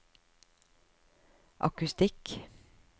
akustikk